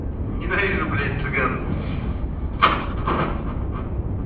ненавижу блять цыган